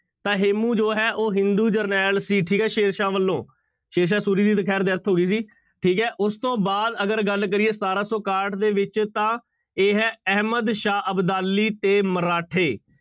ਤਾਂ ਹੇਮੂੰ ਜੋ ਹੈ ਉਹ ਹਿੰਦੂ ਜਰਨੈਲ ਸੀ ਠੀਕ ਹੈ ਸ਼ੇਰਸ਼ਾਹ ਵੱਲੋਂ, ਸ਼ੇਰਸ਼ਾਹ ਸੂਰੀ ਦੀ ਤਾਂ ਖੈਰ death ਹੋ ਗਈ ਸੀ ਠੀਕ ਹੈ ਉਸ ਤੋਂ ਬਾਅਦ ਅਗਰ ਗੱਲ ਕਰੀਏ ਸਤਾਰਾਂ ਸੌ ਇਕਾਹਠ ਦੇ ਵਿੱਚ ਤਾਂ ਇਹ ਹੈ ਅਹਿਮਦ ਸ਼ਾਹ ਅਬਦਾਲੀ ਤੇ ਮਰਾਠੇ।